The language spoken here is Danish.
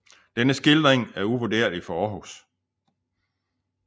Denne skildring er uvurderlig for Århus